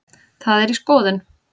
Það er í skoðun.